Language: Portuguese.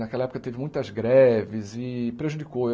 Naquela época teve muitas greves e prejudicou.